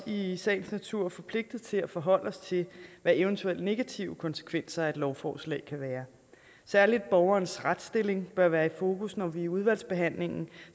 i sagens natur også forpligtet til at forholde os til hvad eventuelle negative konsekvenser af et lovforslag kan være særlig borgerens retsstilling bør være i fokus når vi i udvalgsbehandlingen